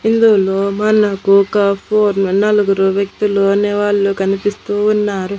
పిల్లొల్లు మనకు ఒక four men నలుగురు వ్యక్తులు అనేవాళ్ళు కనిపిస్తూ ఉన్నారు.